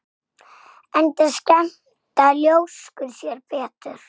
Enda skemmta ljóskur sér betur.